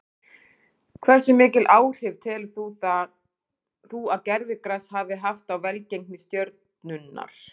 Hversu mikil áhrif telur þú að gervigrasið hafi haft á velgengni Stjörnunnar?